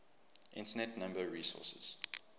internet number resources